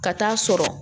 Ka taa'a sɔrɔ